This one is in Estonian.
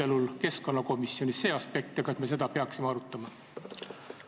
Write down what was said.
Kas keskkonnakomisjonis oli see aspekt arutelul ja kas me peaksime seda arutama?